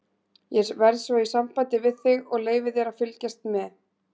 Ég verð svo í sambandi við þig og leyfi þér að fylgjast með.